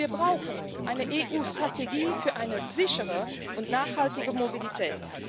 Wir brauchen eine EU Strategie für eine sichere und nachhaltige Mobilität.